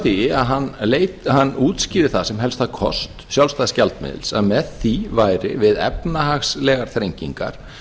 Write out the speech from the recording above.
því að hann útskýrði það sem helsta kost sjálfstæðs gjaldmiðils að með því væri við efnahagslegar þrengingar